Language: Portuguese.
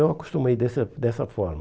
Eu acostumei dessa dessa forma.